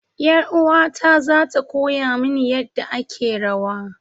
Yar uwata za ta koya mini yadda ake rawa.